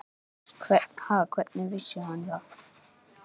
Ha, hvernig vissi hann það?